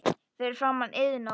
Fyrir framan Iðnó.